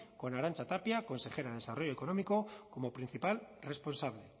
con arantxa tapia consejera de desarrollo económico como principal responsable